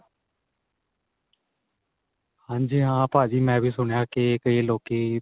ਹਾਂਜੀ ਹਾਂ ਭਾਜੀ ਮੈ ਸੁਣਿਆ ਕੀ ਕਈ ਲੋਕੀ